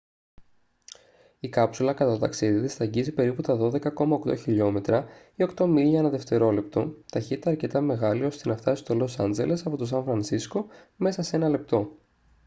η κάψουλα κατά το ταξίδι της θα αγγίξει περίπου τα 12,8 χιλιόμετρα ή 8 μίλια ανά δευτερόλεπτο ταχύτητα αρκετά μεγάλη ώστε να φτάσει στο λος άτζελες από το σαν φρανσίσκο μέσα σε ένα λεπτό